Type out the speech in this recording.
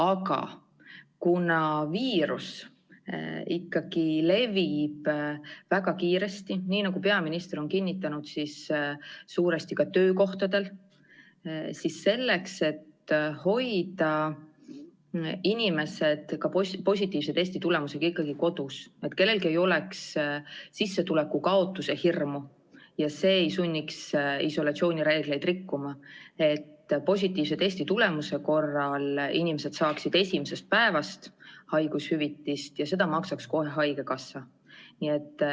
Aga: kuna viirus levib väga kiiresti, nii nagu peaminister on kinnitanud, suuresti ka töökohtadel, siis selleks, et hoida inimesed positiivse testitulemuse korral ikkagi kodus, ilma et kellelgi oleks sissetuleku kaotuse hirmu, mis sunniks isolatsioonireegleid rikkuma, võiksid positiivse testitulemuse korral saada inimesed haigushüvitist esimesest päevast alates ja seda maksaks kohe haigekassa.